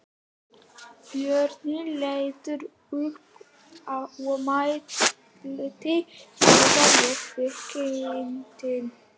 Björn leit upp og mælti: Þekki ég þig, kindin?